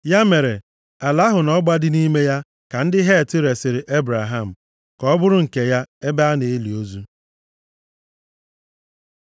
Ya mere, ala ahụ na ọgba dị nʼime ya ka ndị Het resiri Ebraham ka ọ bụrụ nke ya, ebe a na-eli ozu.